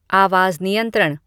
आवाज़ नियंत्रण